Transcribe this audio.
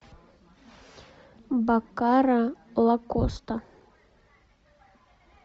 баккара лакоста